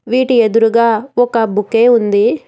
వీటి ఎదురుగా ఒక బొకే ఉంది.